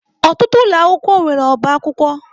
Ọtụtụ ụlọ akwụkwọ nwere ọbá akwụkwọ.